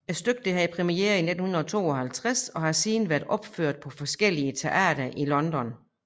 Stykket havde premiere i 1952 og har siden været opført på forskellige teatre i London